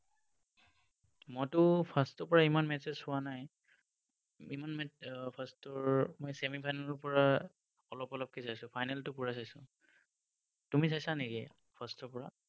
মইতো first ৰ পৰা ইমান matches চোৱা নাই। ইমান match first ৰ, মই semi final ৰ পৰা অলপ অলপকে চাইছো, final টো পুৰা চাইছো। তুমি চাইছা নেকি first ৰ পৰা?